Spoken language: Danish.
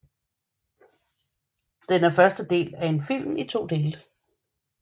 Den er første del af en film i to dele